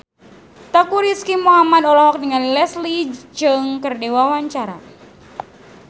Teuku Rizky Muhammad olohok ningali Leslie Cheung keur diwawancara